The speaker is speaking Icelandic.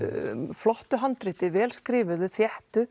flottu handriti vel skrifuðu þéttu